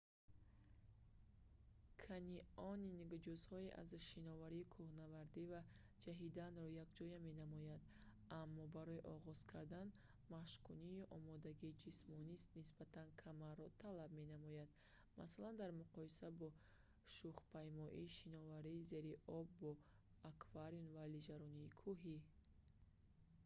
канионинг ҷузъҳо аз шиноварӣ кӯҳнавардӣ ва ҷаҳиданро якҷоя менамояд аммо барои оғоз кардан машқкунӣ ё омодагии ҷисмонии нисбатан камро талаб менамояд масалан дар муқоиса бо шухпаймоӣ шиноварии зери об бо акваланг ё лижаронии кӯҳӣ